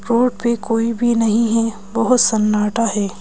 Road पे कोई भी नहीं है बहुत सन्नाटा है।